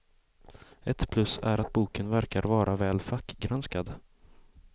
Ett plus är att boken verkar vara väl fackgranskad.